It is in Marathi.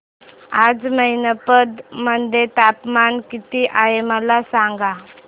आज मैनपत मध्ये तापमान किती आहे मला सांगा